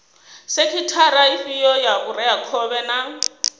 sekhithara ifhio ya vhureakhovhe na